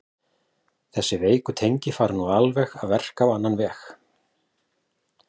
Þessi veiku tengi fara nú að verka á annan veg.